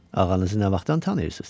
Ağanızın nə vaxtdan tanıyırsız?